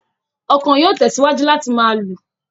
Ọ̀kan yóò tẹ̀síwájú láti máa lù.